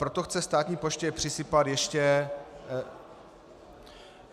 Proto chce státní poště přisypat ještě -